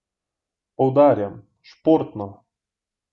Poudarjam, športno!